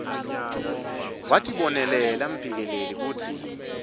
watibonela mphikeleli kutsi